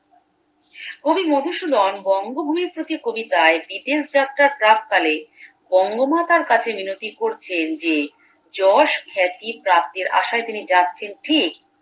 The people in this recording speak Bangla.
কবি মধুসুধন বঙ্গভূমির প্রতি কবিতায় বিদেশ যাত্র্রার প্রাক্কালে বঙ্গমাতার কাছে মিনতি করছেন যে যশ খ্যাতি প্রাপ্তির আসায় তিনি যাচ্ছেন ঠিক